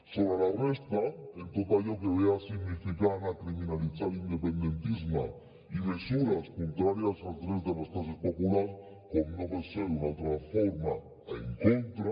sobre la resta en tot allò que significa criminalitzar l’independentisme i mesures contràries als drets de les classes populars com no pot ser d’una altra forma en contra